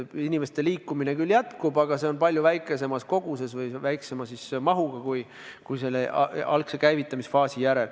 Inimeste liikumine küll jätkub, aga palju väiksemas koguses või väiksema mahuga kui algse käivitamisfaasi järel.